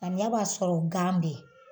Samiya b'a sɔrɔ gan bɛ yen.